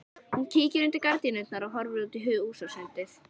Hann kíkir undir gardínuna og horfir út í húsasundið.